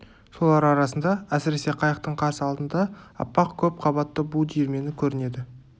солар арасында әсіресе қайықтың қарсы алдында аппақ көп қабатты бу диірмені көрінеді